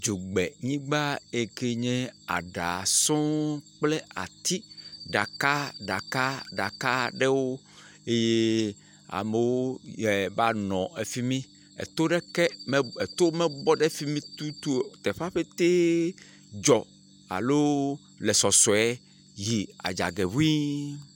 Dzogbenyigba yi ke nye aɖa sɔ̃ɔ kple ati ɖaka ɖaka ɖaka aɖewo eye amewo e va nɔ fi mi. Eto ɖeka e to mebɔ ɖe fi mi tutu o. Teƒea petɛ dzɔ alo le sɔsɔe yi adzɔgɛ ŋii.